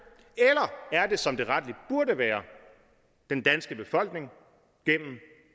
er er det som det rettelig burde være den danske befolkning gennem